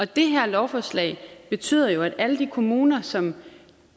det her lovforslag betyder jo at alle de kommuner som